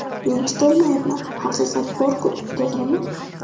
Men chidolmayapman, haqiqat bor-ku, to‘g‘rimi?